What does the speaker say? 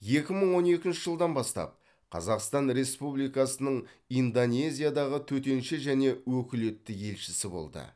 екі мың он екінші жылдан бастап қазақстан республикасының индонезиядағы төтенше және өкілетті елшісі болды